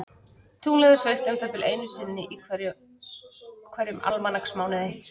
Tunglið er fullt um það bil einu sinni í hverjum almanaksmánuði.